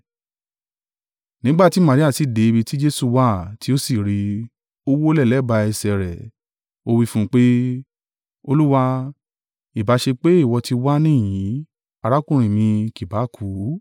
Nígbà tí Maria sì dé ibi tí Jesu wà, tí ó sì rí i, ó wólẹ̀ lẹ́bàá ẹsẹ̀ rẹ̀, ó wí fún un pé, “Olúwa, ìbá ṣe pé ìwọ ti wà níhìn-ín, arákùnrin mi kì bá kú.”